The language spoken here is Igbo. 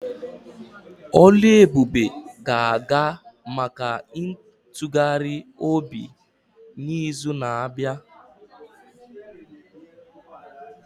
Oluebube ga-aga maka ntụgharị obi n'izu na-abịa.